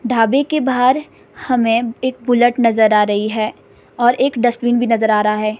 ढाबे के बाहर हमें एक बुलेट नजर आ रही है और एक डस्टबिन भी नजर आ रहा है।